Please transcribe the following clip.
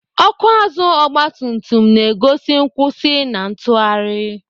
Ọkụ azụ ọgbatumtum na-egosi nkwụsị na ntụgharị.